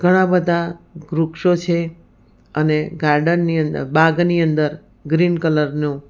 ઘણા બધા વૃક્ષો છે અને ગાર્ડન ની અંદર બાગની અંદર ગ્રીન કલરનું--